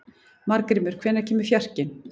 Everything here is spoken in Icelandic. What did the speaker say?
Margrímur, hvenær kemur fjarkinn?